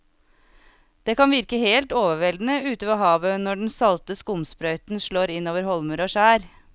Det kan virke helt overveldende ute ved havet når den salte skumsprøyten slår innover holmer og skjær.